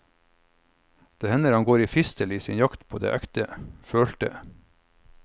Det hender han går i fistel i sin jakt på det ekte, følte.